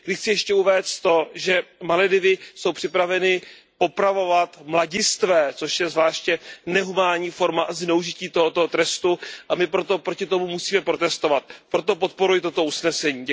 Ještě chci zmínit to, že Maledivy jsou připraveny popravovat mladistvé, což je zvláště nehumánní forma a zneužití tohoto trestu, a my proti tomu musíme protestovat, a proto podporuji toto usnesení.